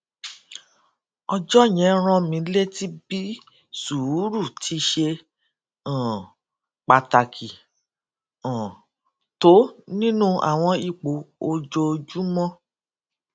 ọjó yẹn rán mi létí bí sùúrù ti ṣe um pàtàkì um tó nínú àwọn ipò ojoojúmó